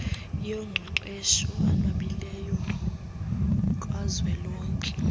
yoqeqesho enabileyo kazwelonke